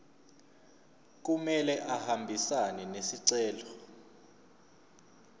kumele ahambisane nesicelo